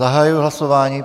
Zahajuji hlasování.